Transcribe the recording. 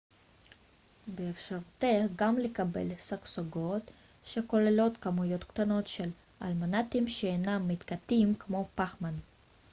באפשרותך גם לקבל סגסוגות שכוללות כמויות קטנות של אלמנטים שאינם מתכתיים כמו פחמן